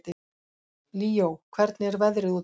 Líó, hvernig er veðrið úti?